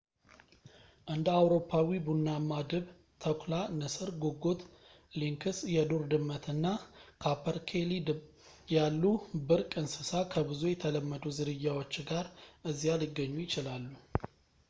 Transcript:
እንደ አውሮፓዊ ቡናማ ድብ ተኩላ ንስር ጉጉት ሊንክስ የዱር ድመት እና ካፐርኬሊ ያሉ ብርቅ እንስስ ከብዙ የተለመዱ ዝርያዎች ጋር እዚያ ሊገኙ ይችላሉ